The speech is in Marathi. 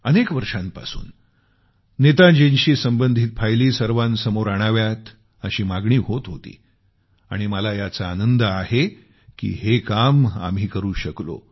अनेक वर्षांपासून नेताजींशी संबंधित फायली सर्वांसमोर आणाव्यात अशी मागणी होत होती आणि मला याचा आनंद आहे की हे काम आम्ही करू शकलो